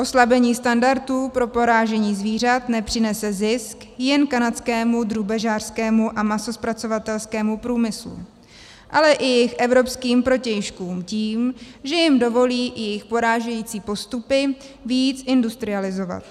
Oslabení standardů pro porážení zvířat nepřinese zisk jen kanadskému drůbežářskému a masozpracovatelskému průmyslu, ale i jejich evropským protějškům tím, že jim dovolí i jejich porážející (?) postupy víc industrializovat.